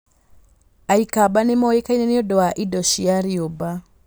Aikamba nĩ moikaine nĩ ũndũ wa indo cia rĩũmba.